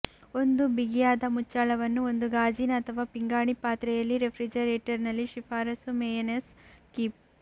ಒಂದು ಬಿಗಿಯಾದ ಮುಚ್ಚಳವನ್ನು ಒಂದು ಗಾಜಿನ ಅಥವಾ ಪಿಂಗಾಣಿ ಪಾತ್ರೆಯಲ್ಲಿ ರೆಫ್ರಿಜರೇಟರ್ನಲ್ಲಿ ಶಿಫಾರಸು ಮೇಯನೇಸ್ ಕೀಪ್